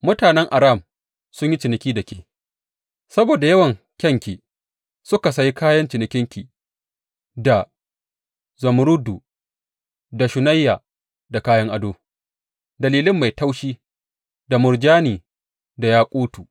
Mutanen Aram sun yi ciniki da ke saboda yawan kayanki; suka sayi kayan cinikinki da zumurrudu, da shunayya, da kayan ado, da lilin mai taushi, da murjani, da yakutu.